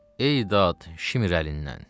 Ey dad Şimr əlindən!